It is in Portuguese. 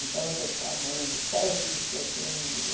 Então, declamando, sete de setembro.